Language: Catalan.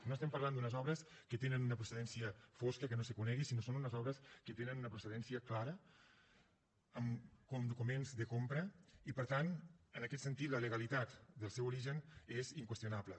no estem parlant d’unes obres que tenen una procedència fosca que no se conegui sinó que són unes obres que tenen una procedència clara amb documents de compra i per tant en aquest sentit la legalitat del seu origen és inqüestionable